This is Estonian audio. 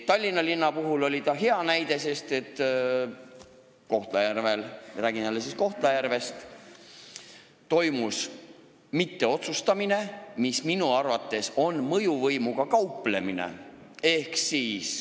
Tallinna linn oli hea näide, sest Kohtla-Järvel – räägin jälle Kohtla-Järvest – toimus mitteotsustamine, mis minu arvates tähendab mõjuvõimuga kauplemist.